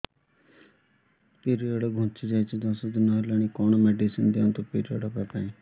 period ଘୁଞ୍ଚି ଯାଇଛି ଦଶ ଦିନ ହେଲାଣି କଅଣ ମେଡିସିନ ଦିଅନ୍ତୁ ପିରିଅଡ଼ ହଵା ପାଈଁ